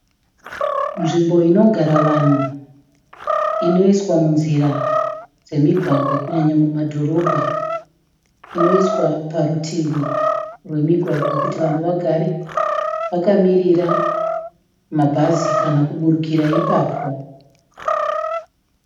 Nzvimbo inogara vanhu, inoiswa munzira dzemugwagwa kunyanya mumadhorobha, inoiswa parutivi rwemigwagwa kuti vanhu vagare vakamirira mabhazi kana kuburukira ipapao.